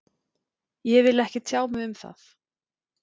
Ég vil ekki tjá mig um það.